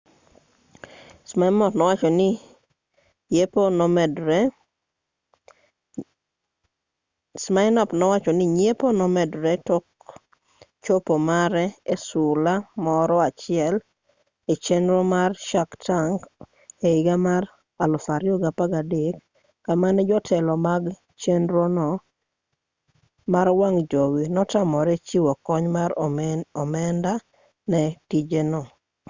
siminoff nowacho ni nyiepo nomedore tok chopo mare e sula moro achiel e chenro mar shark tank e higa mar 2013 kama ne jotelo mag chenrono mar wang' jowi notamore chiwo kony mar omenda ne tijeno